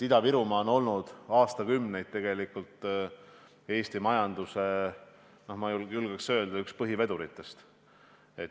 Ida-Virumaa on tegelikult aastakümneid olnud Eesti majanduse, ma julgeks öelda, üks põhiveduritest.